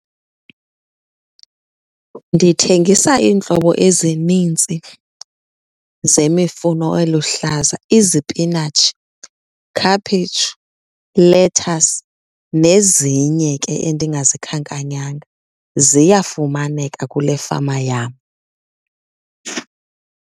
Ndithengisa iintlobo ezinintsi zemifuno eluhlaza, izipinatshi, khaphetshu, lethasi nezinye ke endingazikhankanyanga ziyafumaneka kule fama yam.